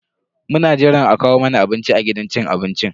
Muna jiran a kawo mana abinci a gidan cin abincin.